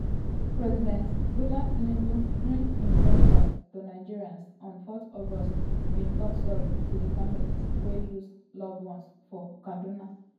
president bola tinubu during im broadcast to nigerians on 4 august bin tok sorry ti di "families wey lose loved ones for kaduna".